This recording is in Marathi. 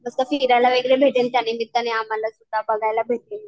मस्त फिरायलावगैरे भेटेल त्यानिमित्ताने आम्हाला, बघायला भेटेल.